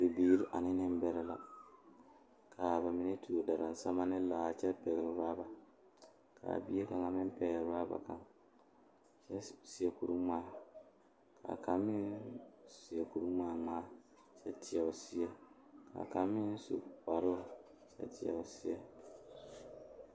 Tratara la biŋ ka noba are kɔŋ a bamine deɛ ba tangaare mire tratara kyɛ a tratare.